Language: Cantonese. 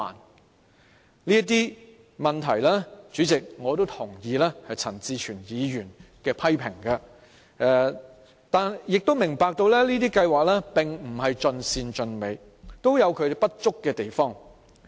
代理主席，對於這些問題，我也同意陳志全議員的批評，但亦明白這些計劃並不是盡善盡美，會有不足之處。